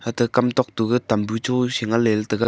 ata kam tok tuga tambu chu shengan ley ley taiga.